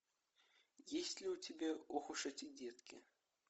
есть ли у тебя ох уж эти детки